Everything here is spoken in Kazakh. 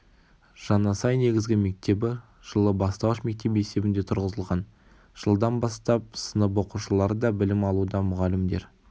жаңасай негізгі мектебі жылы бастауыш мектеп есебінде тұрғызылған жылдан бастап сынып оқушылары да білім алуда мұғалімдер